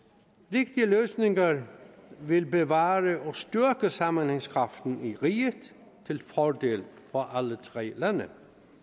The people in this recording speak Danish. rigtige løsninger vil bevare og styrke sammenhængskraften i riget til fordel for alle tre lande